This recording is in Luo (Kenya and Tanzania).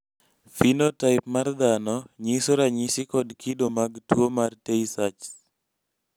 phenotype mar dhano nyiso ranyisi kod kido mag tuwo mar tay sachs